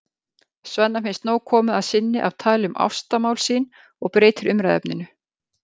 Svenna finnst nóg komið að sinni af tali um ástamál sín og breytir umræðuefninu.